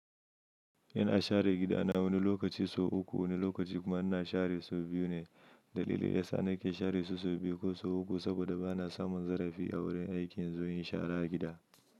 Ina share gida na wani lokaci sau uku, wani lokaci kuma ina share sau biyu ne. Dalilin da yasa nake share su sau biyu ko sau uku saboda bana samun zarafi a wurin aiki in zo in yi shara gida.